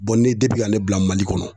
ne ale bila Mali kɔnɔ